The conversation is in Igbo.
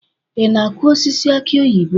Ị na-akụ osisi aki oyibo?